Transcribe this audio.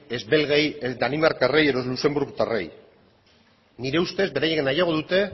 ez belgei ez danimarkarrei edo luxenburgotarrei nire ustez beraiek nahiago dute